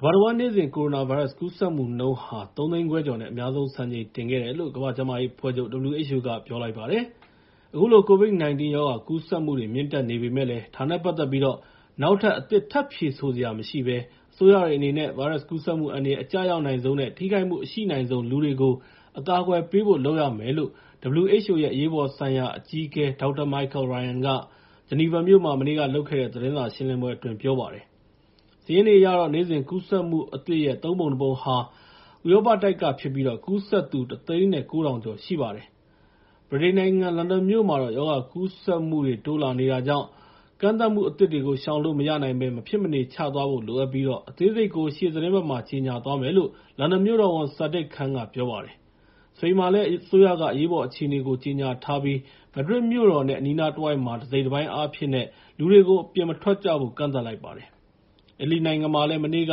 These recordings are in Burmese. ကမ္ဘာတဝန်း နေ့စဉ် ကိုရိုနာဗိုင်းရပ်စ် ကူးစက်မှုနှုန်းဟာ ၃ သိန်းခွဲကျော်နဲ့ အများဆုံး စံချိန်တင်ခဲ့တယ်လို့ ကမ္ဘာ့ကျန်းမာရေးအဖွဲ့ချုပ် (WHO) က ပြောပါတယ်။ အခုလို COVID-19 ရောဂါ ကူးစက်မှုတွေ မြင့်တက်နေပေမယ့်လည်း ဒါနဲ့ပတ်သက်ပြီး နောက်ထပ် အသစ်ထပ်ဖြေဆိုစရာ မရှိဘဲ အစိုးရတွေအနေနဲ့ ဗိုင်းရပ်ကူးစက်မှု အန္တရာယ် အကျရောက်နိုင်ဆုံးနဲ့ ထိခိုက်မှုအရှိနိုင်ဆုံး လူတွေကို အကာအကွယ်ပေးဖို့ လုပ်ရမယ်လို့ WHO ရဲ့ အရေးပေါ်ဆိုင်ရာ အကြီးအကဲ Dr. Michael Ryan က ဂျီနီဗာမြို့မှာ မနေ့ကလုပ်တဲ့ သတင်းစာရှင်းလင်းပွဲအတွင်း ပြောပါတယ်။ စာရင်းတွေအရတော့ နေ့စဉ်ကူးစက်မှုအသစ်ရဲ့ ၃ ပုံ ၁ ပုံဟာ ဥရောပတိုက်ကဖြစ်ပြီး ကူးစက်သူ ၁၀၉,၀၀၀ ကျော်ရှိပါတယ်။ ဗြိတိန်နိုင်ငံ လန်ဒန်မြို့မှာတော့ ရောဂါကူးစက်မှုတွေ တိုးလာနေတာကြောင့် ကန့်သတ်မှုအသစ်တွေကို ရှောင်လို့မရနိုင်ဘဲ မဖြစ်မနေ ချသွားဖို့ လိုအပ်ပြီး အသေးစိတ်ကို ရှေ့သီတင်းပတ်မှာ ကြေညာသွားမယ်လို့ မြို့တော်ဝန် Sadiq Khan က ပြောလိုက်ပါတယ်။ စပိန်မှာလည်း အစိုးရအရေးပေါ်အခြေအနေ ကြေညာပြီး မက်ဒရစ်မြို့တော်နဲ့ အနီးနားတဝိုက်မှာ တစိတ်တပိုင်းအားဖြင့် လူတွေကို အပြင်မထွက်ကြဖို့ ကန့်သတ်လိုက်ပါတယ်။ အီတလီမှာလည်း မနေ့က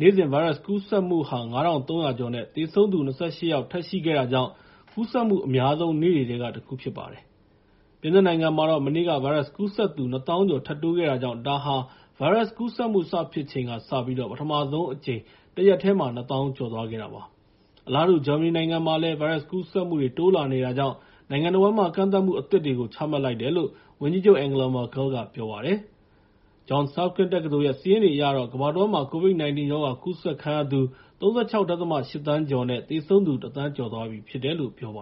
နေ့စဉ် ဗိုင်းရပ်စ်ကူးစက်မှုဟာ ၅,၃၀၀ ကျော်နဲ့ သေဆုံးသူ ၂၈ ယောက် ထပ်ရှိခဲ့တာကြောင့် ကူးစက်မှုအများဆုံး နေ့တွေထဲက တခုဖြစ်ပါတယ်။ ပြင်သစ်မှာလည်း မနေ့က ဗိုင်းရပ်စ်ကူးစက်သူ ၂၀,၀၀၀ ကျော် ထပ်တိုးခဲ့တာကြောင့် ဒါဟာ ဗိုင်းရပ်စ်ကူးစက်မှု စဖြစ်ချိန်ကစပြီး ပထမဆုံးအကြိမ် တရက်တည်းမှာ ၂၀,၀၀၀ ကျော်ခဲ့တာပါ။ အလားတူ ဂျာမနီနိုင်ငံမှာလည်း ဗိုင်းရပ်စ်ကူးစက်မှုတွေ တိုးလာနေတာကြောင့် နိုင်ငံတဝန်းမှာ ကန့်သတ်မှုအသစ်တွေကို ချမှတ်လိုက်တယ်လို့ ဝန်ကြီးချုပ် Angela Merkel က ပြောလိုက်ပါတယ်။ Johns Hopkins တက္ကသိုလ်ရဲ့ စာရင်းတွေအရတော့ ကမ္ဘာတဝန်းမှာ COVID-19 ရောဂါကူးစက်သူ ၃၆.၈ သန်းကျော်နဲ့ သေဆုံးသူ ၁ သန်းကျော်သွားပြီဖြစ်တယ်လို့ ပြောပါ